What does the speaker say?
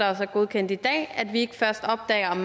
er godkendt i dag at vi ikke først opdager